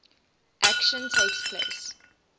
action takes place